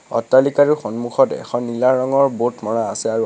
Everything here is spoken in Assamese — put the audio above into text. অট্টালিকাটোৰ সন্মুখত এখন নীলা ৰঙৰ ব'ৰ্ড মৰা আছে আৰু অ--